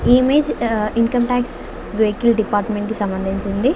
ఈ ఇమేజ్ యా income tax vehicle department కి సంబంధించింది.